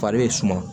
Fari bɛ suma